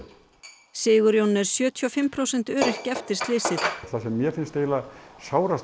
Sigurjón er sjötíu og fimm prósent öryrki eftir slysið það sem mér finnst eiginlega sárast